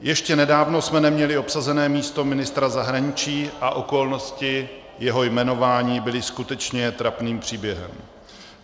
Ještě nedávno jsme neměli obsazené místo ministra zahraničí a okolnosti jeho jmenování byly skutečně trapným příběhem.